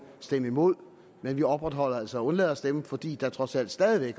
stemme imod men vi opretholder altså at undlade at stemme fordi der trods alt stadig